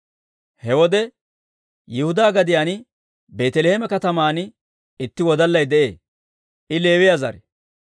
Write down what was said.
He wode Yihudaa gadiyaan Beeteleeme kataman itti wodallay de'ee; I Leewiyaa zare.